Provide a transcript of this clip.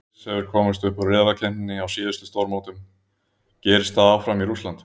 Sviss hefur komist upp úr riðlakeppninni á síðustu stórmótum, gerist það áfram í Rússlandi?